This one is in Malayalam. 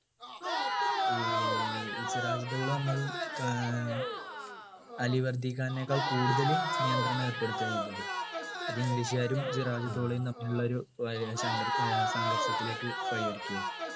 ഏർ സിറാജ് ദൗള വന്നതും കാ അലിവർധി ഖാനിനേക്കാളും കൂടുതൽ നിയന്ത്രണം ഏർപ്പെടുത്തുകയാ ചെയ്തത് അത് english കാരും സിറാജ് ദൗളയും തമ്മിലുള്ള ഒരു വാ സംഘ ഏർ സംഘർഷത്തിലേക്ക് വഴിയൊരുക്കിയെ